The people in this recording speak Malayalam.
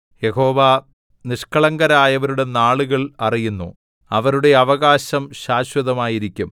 യഹോവ നിഷ്കളങ്കരായവരുടെ നാളുകൾ അറിയുന്നു അവരുടെ അവകാശം ശാശ്വതമായിരിക്കും